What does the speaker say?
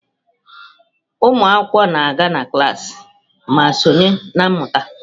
Ụmụ akwụkwọ na-aga klaasị ma sonye na mmụta.